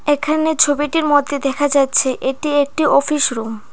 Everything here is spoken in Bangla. এখানে ছবিটির মধ্যে দেখা যাচ্ছে এটি একটি অফিস রুম ।